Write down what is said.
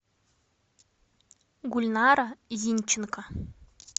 гульнара зинченко